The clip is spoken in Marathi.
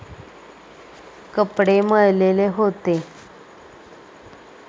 कपडे मळलेले होते.